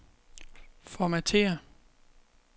Formatér.